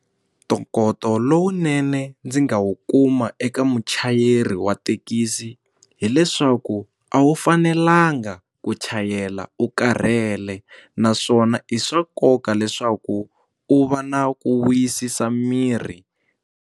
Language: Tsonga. Ntokoto lowunene ndzi nga wu kuma eka muchayeri wa thekisi hileswaku a wu fanelanga ku chayela u karhele naswona i swa nkoka leswaku u va na ku wisisa mirhi.